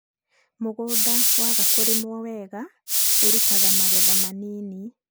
mũgũnda waaga kũrĩmwo weega ũrutaga magetha manĩnĩ